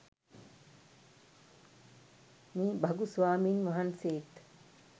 මේ භගු ස්වාමින් වහන්සේත්